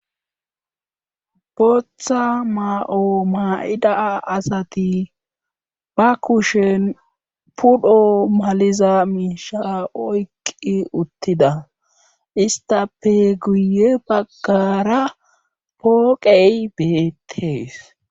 Botha maao maa'ida asati ba kushen pudho maliza miisha oyqqi uttida istape guye baggara pooqey beettees.